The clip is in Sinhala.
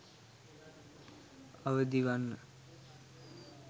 අවදිවන්න